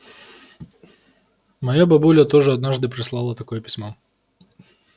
моя бабуля тоже однажды прислала такое письмо